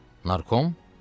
"Narkom?"